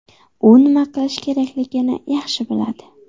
U nima qilish kerakligini yaxshi biladi.